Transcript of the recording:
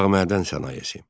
Dağ mədən sənayesi.